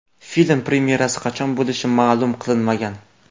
Film premyerasi qachon bo‘lishi ma’lum qilinmagan.